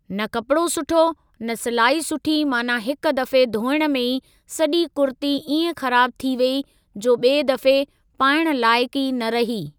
न कपिड़ो सुठो, न सिलाई सुठी माना हिक दफ़े धोइण में ई सॼी कुर्ती इएं ख़राब थी वेई जो ॿिए दफ़े पाइण लाइक़ु ई न रही।